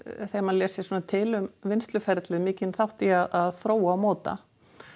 þegar maður les sér til um vinnsluferlið mikinn þátt í að þróa og móta